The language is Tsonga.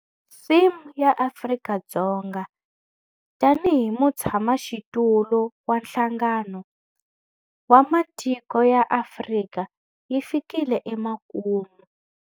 Theme ya Afrika-Dzonga tanihi mutshamaxitulu wa Nhlangano wa Matiko ya Afrika yi fikile emakumu.